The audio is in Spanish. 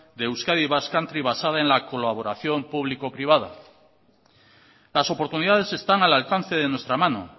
de euskadi basque country basada en la colaboración público privada las oportunidades están al alcance de nuestra mano